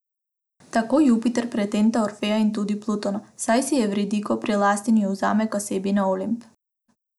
Tako Jupiter pretenta Orfeja in tudi Plutona, saj si Evridiko prilasti in jo vzame k sebi na Olimp.